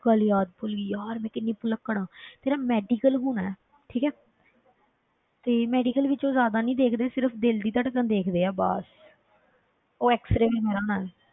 ਗੱਲ ਯਾਦ ਭੁੱਲ ਗਈ ਯਾਰ ਮੈਂ ਕਿੰਨੀ ਭੁਲੱਕੜ ਹਾਂ ਤੇਰਾ medical ਹੋਣਾ ਹੈ ਠੀਕ ਹੈ ਤੇ medical ਵਿੱਚ ਉਹ ਜ਼ਿਆਦਾ ਨਹੀਂ ਦੇਖਦੇ ਸਿਰਫ਼ ਦਿਲ ਦੀ ਧੜਕਣ ਦੇਖਦੇ ਆ ਬਸ ਉਹ xray ਦੀ ਮਦਦ ਨਾਲ,